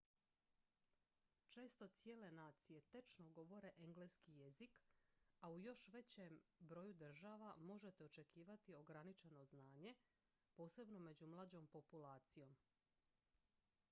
često cijele nacije tečno govore engleski jezik a u još većem broju država možete očekivati ograničeno znanje posebno među mlađom populacijom